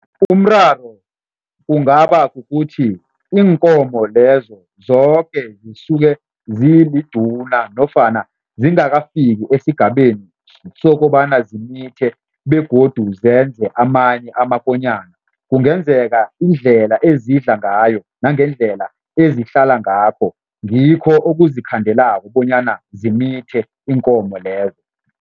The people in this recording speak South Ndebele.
Umraro kungaba kukuthi, iinkomo lezo zoke zisuke ziliduna nofana zingakafiki esigabeni sokobana zimithe begodu zenze amanye amakonyana. Kungenzeka indlela ezidla ngayo nangendlela ezihlala ngakho, ngikho okuzikhandelako bonyana zimithe iinkomo lezo.